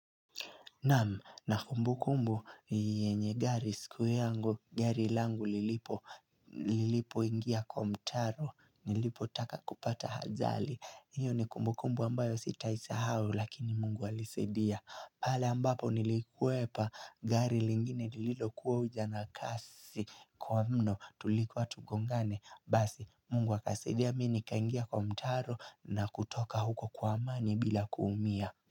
Naam na kumbu kumbu yenye gari siku yangu gari langu lilipo ingia kwa mtaro nilipo taka kupata ajali Iyo ni kumbu kumbu ambayo sitaisahau lakini mungu alinisaidia Pala ambapo nilikwepa gari lingine lililo kuwa kuja na kasi kwa mno tulikuwa tugongane Basi mungu wakasaidia mi nikaingia kwa mtaro na kutoka huko kwa amani bila kuumia.